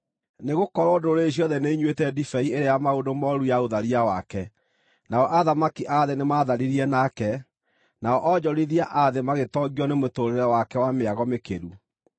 Nĩgũkorwo ndũrĩrĩ ciothe nĩinyuĩte ndibei ĩrĩa ya maũndũ mooru ya ũtharia wake. Nao athamaki a thĩ nĩmatharirie nake, nao onjorithia a thĩ magĩtongio nĩ mũtũũrĩre wake wa mĩago mĩkĩru.”